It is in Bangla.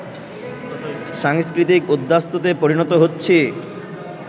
সাংস্কৃতিক উদ্বাস্তুতে পরিণত হচ্ছি